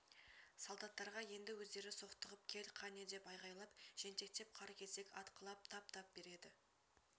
солдаттарға енді өздері соқтығып кел қане деп айғайлап жентектеп қар кесек атқылап тап-тап береді